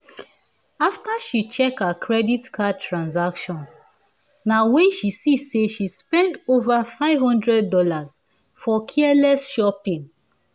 after she check her credit card transactions na wen she see say she spend over five hundred dollars for careless shopping